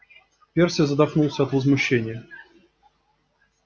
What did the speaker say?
перси задохнулся от возмущения